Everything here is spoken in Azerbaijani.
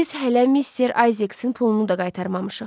Biz hələ Mister Ayzeksin pulunu da qaytarmamışıq.